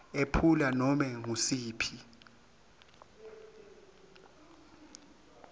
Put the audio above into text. ephula nobe ngusiphi